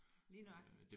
Lige nøjagtigt